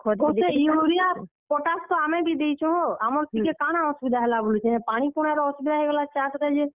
Urea potash, ତ ଆମେ ବି ଦେଇଛୁଁ ହୋ, ଆମର୍ ଥିରେ କାଣା ଅସୁବିଧା ହେଲା ବୋଲୁଛେଁ, ହେ ପାଣି ପୁଣା ର ଅସୁବିଧା ହେଇଗଲା ଚାଷ୍ ରେ ଯେ।